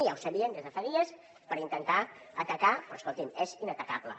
ja ho sabien des de fa dies per intentar atacar però escolti’m és inatacable